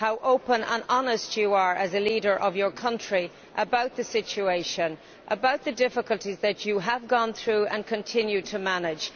how open and honest you are, as a leader of your country, about the situation and about the difficulties that you have gone through and continue to manage.